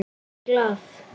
Ég var í Glað.